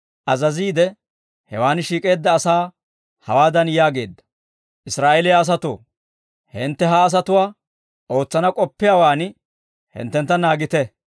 azaziide hewaan shiik'eedda asaa hawaadan yaageedda; «Israa'eeliyaa asatoo, hintte ha asatuwaa ootsana k'oppiyaawaan hinttentta naagite.